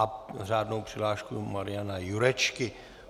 A řádnou přihlášku Mariana Jurečky.